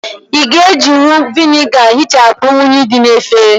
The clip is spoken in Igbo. Ị́ ga ejinwu Vị́nịga hịchapu unyi dị na efere